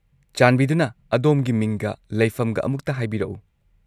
ꯆꯥꯟꯕꯤꯗꯨꯅ ꯑꯗꯣꯝꯒꯤ ꯃꯤꯡꯒ ꯂꯩꯐꯝꯒ ꯑꯃꯨꯛꯇ ꯍꯥꯏꯕꯤꯔꯛꯎ?